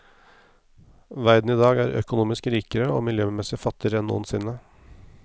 Verden i dag er økonomisk rikere og miljømessig fattigere enn noensinne.